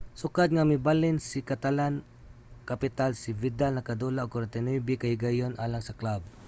sukad nga mibalhin sa catalan-capital si vidal nakadula og 49 ka higayon alang sa club